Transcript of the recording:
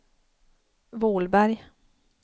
Vålberg